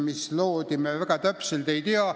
Me seda väga täpselt ei tea.